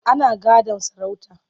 Ana gadon sarauta.